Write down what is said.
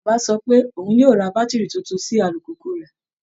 Bàbá sọ pé òun yóò ra bátìrì tuntun sí alùpùpù rẹ̀